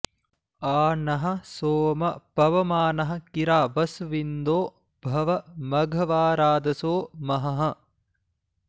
आ नः सोम पवमानः किरा वस्विन्दो भव मघवा राधसो महः